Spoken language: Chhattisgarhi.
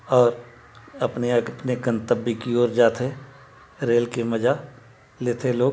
और अपने- अपने गंतव्य कि ओर जाते रेल की मजा लेते लोग--